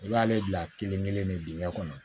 I b'ale bila kelen kelen de dingɛ kɔnɔ